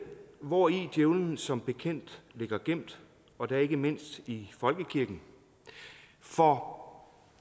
hvori djævelen som bekendt ligger gemt og da ikke mindst i folkekirken for